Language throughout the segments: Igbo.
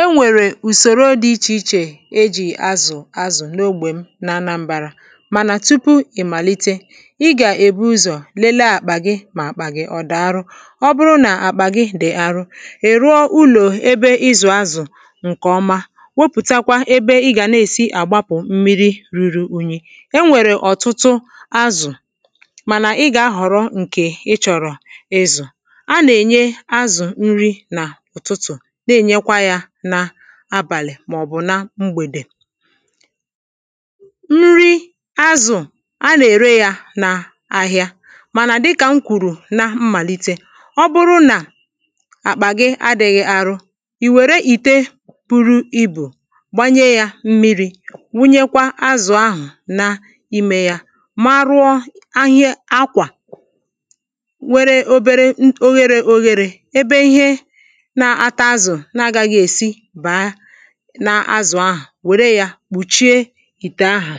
E nwèrè ùsòro dị ichè ichè ejì azụ̀ azụ̀ n’ogbè m na anambārā Mànà tupu ị̀ màlite, ị gà-èbu ụzọ̀ lelee àkpà gị mà àkpà gị ọ̀ dà arụ Ọ bụrụ nà àkpà gị dị̀ arụ, ị̀ rụọ ụlọ̀ ebe ịzụ̀ azụ̀, ǹkèọma wopùtakwa ebe ị gà-èsi na-àgbapụ̀̀ mmiri rūrū ūnyī E nwèrè ọ̀tụtụ azụ̀, mànà ị gà-ahọ̀rọ ǹkè ị chọ̀rọ̀ ịzụ̀ A nà-ènye azụ̀ nri n’ụ̀tụtụ̀ na-ènyekwa yā n’abàlị̀ màọ̀bụ̀ na mgbèdè Nri azụ̀ a nà-ère yā n’ahịa Mànà dịkà m kwùrù na mmàlite Ọ bụrụ nà àkpà gị adị̄ghị̄ arụ, ì wère ìte buru ibù Gbanye yā mmirī, wunyekwa azụ̀ ahà n’ime yā, marụọ akwà nwere obere ogherē ogherē ebe ihe na-ata azụ̀ na agāghị̄ èsi bàa n’azụ̀ ahà Wère yā kpùchie ìtè áhà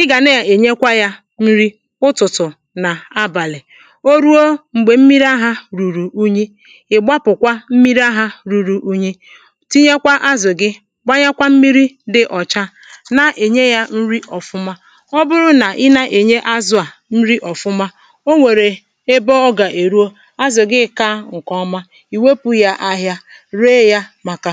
Ị gà na-ènyekwa yā nri ụtụ̀tụ̀ nà abàlị̀ O ruo m̀gbè m̀miri ahā rùrù unyi, ị̀ gbapụ̀kwa mmiri ahā ruru unyi, tinyekwa azụ̀ gị gbanyekwa mmiri dị ọcha, na-ènye yā nri ọ̀fụma Ọ bụrụ nà i nà-ènye azụ̄ à nri òfụma, o nwèrè m̀gbè ọ gà-èruo, azụ̀ gị kāā ǹkè̀ọma ì wopù yà ahịa, ree yā m̀akà